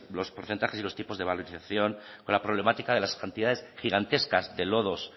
los porcentajes y los tipos de valorización con la problemática de las cantidades gigantescas de lodos